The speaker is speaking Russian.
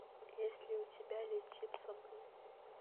есть ли у тебя летим со мной